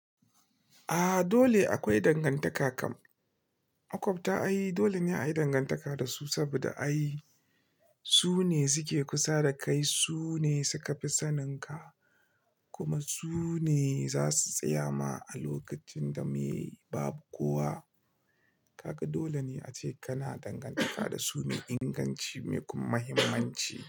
A'a dole akwai dangantaka kam. Maƙwabta ai dole ne a yi dangantaka da su saboda ai su ne suke kusa da kai, su ne suka fi saninka kuma su ne za su tsaya ma a lokacin da meye babu kowa. Kaga dole ne ace kana dangantaka da su mai inganci, mai kuma muhimmanci.